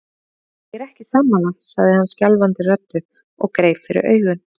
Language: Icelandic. Ég er ekki sammála, sagði hann skjálfandi röddu og greip fyrir augun.